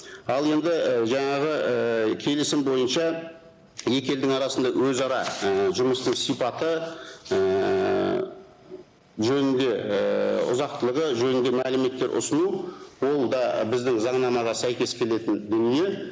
ал енді і жаңағы ііі келісім бойынша екі елдің арасында өзара ііі жұмыстың сипаты ііі жөнінде ііі ұзақтылығы жөнінде мәліметтер ұсыну ол да біздің заңнамаға сәйкес келетін дүние